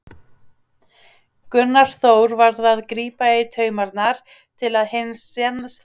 Gunnþór varð að grípa í taumana til að hinn sanni bindindisandi svifi ekki burtu.